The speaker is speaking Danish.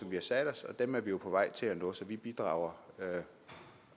vi har sat os og dem er vi jo på vej til at nå så vi bidrager